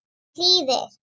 Hún hlýðir.